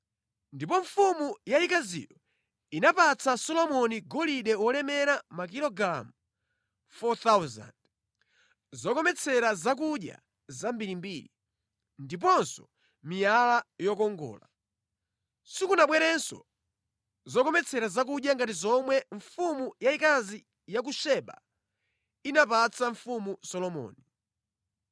Ndipo mfumu yayikaziyo inapatsa Solomoni golide wolemera makilogalamu 4,000, zokometsera zakudya zambirimbiri, ndiponso miyala yokongola. Sikunabwerenso zokometsera zakudya ngati zomwe mfumu yayikazi ya ku Seba inapatsa Mfumu Solomoni.